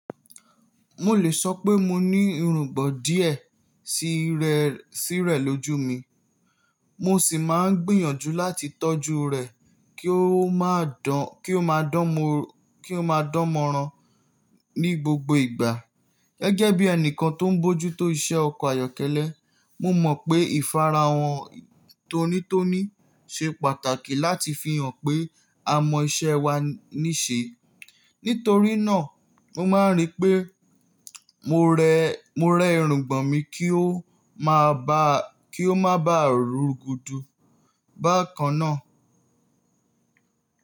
Mo lè sọ pé mo ní irùngbọ̀n díè sí rẹ, sí rẹ̀ lójú mi. Mo sì máa ń gbìyànjú láti tọ́jú rẹ̀ kí ó máa dán, kí ó máa dán mó, kí ó máa dánmọ́ran ní gbogbo ìgbà. Gẹ́gẹ́ bí ẹnìkan tó ń bójú tó iṣẹ́ ọkọ̀ ayọ́kẹ́lẹ́, mo mọ̀ pé ìfarahàn tonítoní ṣe pàtàkì láti fi hàn pé a mọ iṣẹ́ wa níṣe. Nítorí náà, mo máa ń rí pé mo rẹ, mo rẹ irùngbọ̀n mi kí ó máa bá, kí ó má bá rugudù bákan náà.